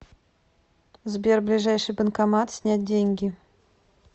сбер ближайший банкомат снять деньги